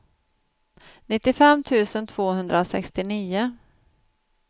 nittiofem tusen tvåhundrasextionio